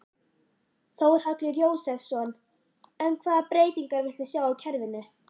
Þórhallur Jósefsson: En hvaða breytingar viltu sjá á kerfinu?